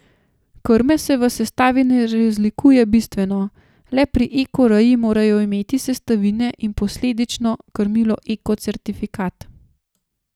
Krme se v sestavi ne razlikuje bistveno, le pri eko reji morajo imeti sestavine in posledično krmilo eko certifikat.